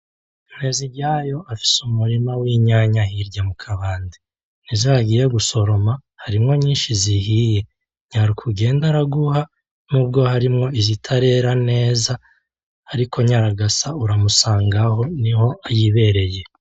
Nteziryayo afise umurima winyanya hirya mukabande , nizo yagiye gusoroma harimwo nyinshi zihiye nyaruka ugenda araguha nubwo harimwo izitarera neza , ariko nyaragasa uramusangaho niho yibereye .